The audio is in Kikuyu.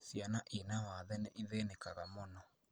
Ciana ciina wathe nĩithĩnĩkaga mũno